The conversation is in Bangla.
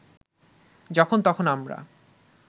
যখন তখন আমরা